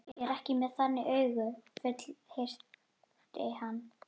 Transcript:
Ég er ekki með þannig augu, fullyrti hann.